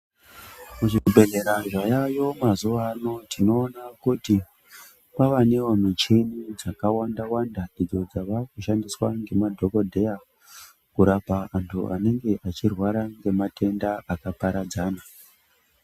Muzvibhedhlera zvavayo mazuvano tinoona kuti kwava newo michini dzakawanda wanda idzo dzava kushandiswa ngemadhokodheya kurapa antu anenge echirwara ngematenda akaparadzana.